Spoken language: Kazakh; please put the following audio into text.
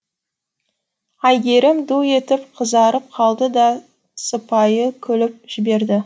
әйгерім ду етіп қызарып қалды да сыпайы күліп жіберді